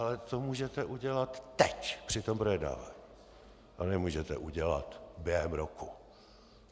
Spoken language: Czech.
Ale to můžete udělat teď při tom projednávání, to nemůžete udělat během roku.